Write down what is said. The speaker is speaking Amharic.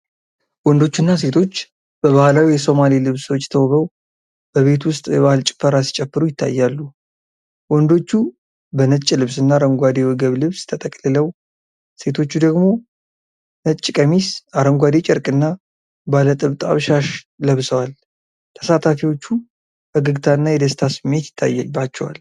ወንዶችና ሴቶች በባህላዊ የሶማሌ ልብሶች ተውበው በቤት ውስጥ የባህል ጭፈራ ሲጨፍሩ ይታያሉ። ወንዶቹ በነጭ ልብስና አረንጓዴ የወገብ ልብስ ተጠቅልለው፣ ሴቶቹ ደግሞ ነጭ ቀሚስ፣ አረንጓዴ ጨርቅና ባለ ጥብጣብ ሻሽ ለብሰዋል። ተሳታፊዎቹ ፈገግታና የደስታ ስሜት ይታይባቸዋል።